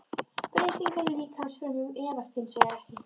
Breytingar í líkamsfrumum erfast hins vegar ekki.